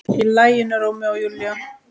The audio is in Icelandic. Í laginu Rómeó og Júlía.